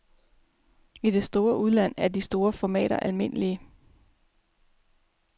I det store udland er de store formater almindelige.